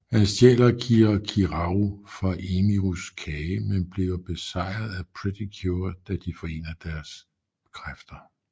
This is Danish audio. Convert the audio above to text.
Han stjæler kirakiraru fra Emirus kage men bliver besejret af Pretty Cure da de forener deres kræfter